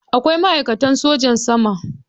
Akwai ma'aikatan sojan sama.